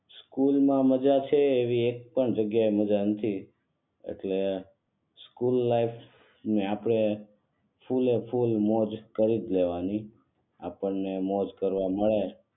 school માં મજા છે એવી એક પણ જગ્યાએ મજા નથી એટલે સ્કૂલ લાઈફ ને આપડે ફૂલએ ફૂલ મોજ કરીજ લેવાનું આપણને મોજ કરવા મળે